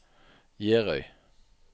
Gjerøy